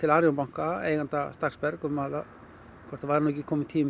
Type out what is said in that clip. Arion banka eiganda Stakksberg um hvort það væri ekki kominn tími